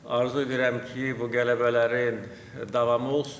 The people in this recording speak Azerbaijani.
Arzu edirəm ki, bu qələbələrin davamı olsun.